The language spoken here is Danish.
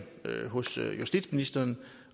hos justitsministeren